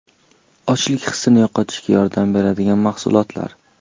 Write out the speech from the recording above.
Ochlik hissini yo‘qotishga yordam beradigan mahsulotlar.